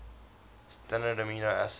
standard amino acids